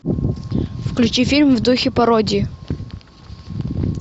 включи фильм в духе пародии